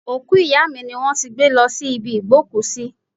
Òkú ìyá mi ni wón ti gbé lọ sí ibi ìgbókùsí.